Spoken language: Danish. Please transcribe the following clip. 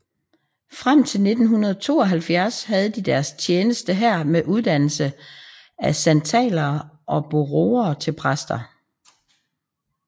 Frem til 1972 havde de deres tjeneste her med uddannelse af santalere og boroer til præster